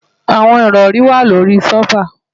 Àwọn ìrọ̀ri wà lórí i sófà